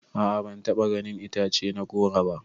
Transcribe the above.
A'a ban taɓa ganin itace na goro ba.